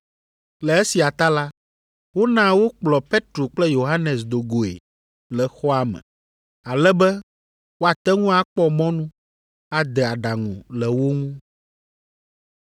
Le esia ta la, wona wokplɔ Petro kple Yohanes do goe le xɔa me, ale be woate ŋu akpɔ mɔnu ade adaŋu le wo ŋu.